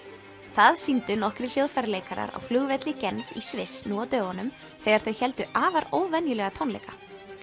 það sýndu nokkrir hljóðfæraleikarar á flugvelli Genf í Sviss nú á dögunum þegar þau héldu afar óvenjulega tónleika